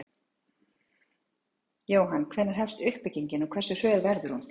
Jóhann: Hvenær hefst uppbyggingin og hversu hröð verður hún?